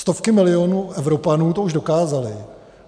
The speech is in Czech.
Stovky milionů Evropanů to už dokázaly.